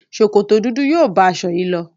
Sòkòtò dúdú yóò bá aṣọ yìí lọ.